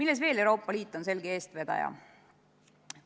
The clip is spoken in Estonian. Kus veel on Euroopa Liit selge eestvedaja?